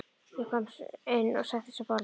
Ég kom inn og settist við borðið.